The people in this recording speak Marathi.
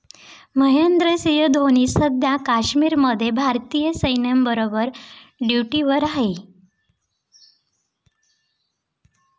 महेंद्रसिंह धोनी सध्या काश्मीरमध्ये भारतीय सैन्याबरोबर ड्युटीवर आहे.